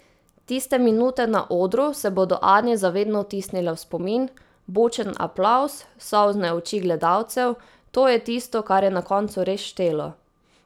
Tiste minute na odru se bodo Ani za vedno vtisnile v spomin, bučen aplavz, solzne oči gledalcev, to je tisto, kar je na koncu res štelo.